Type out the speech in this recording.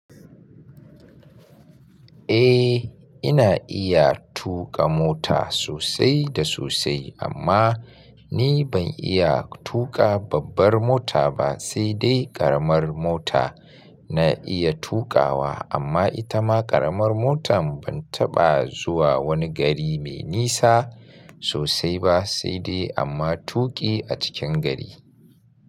Eh ina iya tuƙa mota sosai da sosai amma ni ban iya tuƙa babbar mota ba sai dai ƙaramar mota na iya tuƙawa amma ita ma ƙaramar motar ban taɓa zuwa wani gari mai nisa sosai ba sai dai amma tuƙi a cikin gari.